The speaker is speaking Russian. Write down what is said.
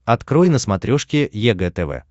открой на смотрешке егэ тв